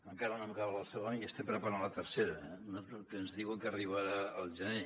encara no hem acabat la segona i ja ens estem preparant per a la tercera que ens diuen que arribarà al gener